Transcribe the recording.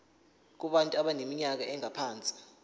kubantu abaneminyaka engaphansi